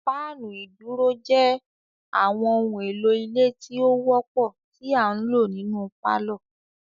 Fáànù iduro jé àwọn ohùn èlò ilé tí ọ wópò ti a ǹlo nínú parlor